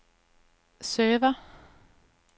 server